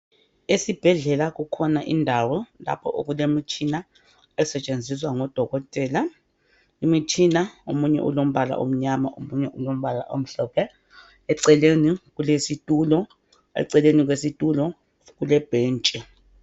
Esibhedlela kukhona indawo lapho okulemitshina esetsheziswa ngodokotela imitshina omunye ulombala omnyama omunye ulombala omhlophe eceleni kulesitulo eceleni kwesitulo kulebhentshi.